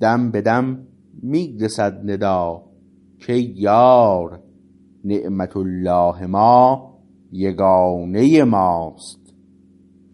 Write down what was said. دم به دم می رسد ندا کای یار نعمت الله ما یگانه ماست